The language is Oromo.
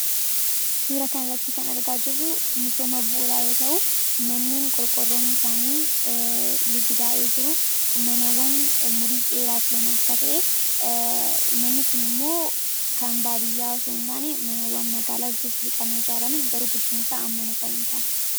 Suuraa kanarratti kan argaa jirru misooma bu'uuraa yoo ta'u, qorqorroon isaanii ligidaa'ee jiru manneen umrii dheeraa turan akka ta'e, inni kunimmoo kan baadiyyaa osoo hin taane manneen magaalaa walitti sissiqanii ijaaraman garuu guddinni isaa hammana hin taanedha.